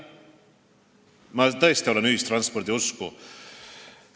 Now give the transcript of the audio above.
Ma tõesti olen ühistranspordi usku.